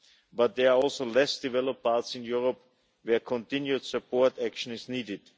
But there are also less developed parts of Europe where continued support action is needed.